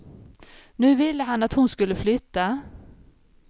Nu ville han att hon skulle flytta.